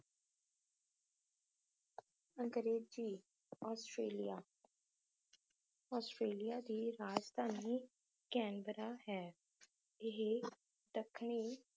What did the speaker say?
ਅੰਗਰੇਜੀ Australia Australia ਦੀ ਰਾਜਧਾਨੀ ਕੈਨਬਰਾ ਹੈ ਇਹ ਦੱਖਣੀ